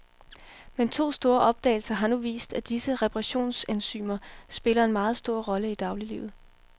Men to store opdagelser har nu vist, at disse reparationsenzymer spiller en meget stor rolle i dagliglivet.